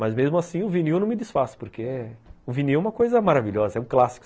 Mas, mesmo assim, o vinil não me desfaça, porque o vinil é uma coisa maravilhosa, é um clássico.